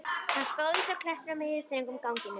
Hann stóð eins og klettur á miðjum, þröngum ganginum.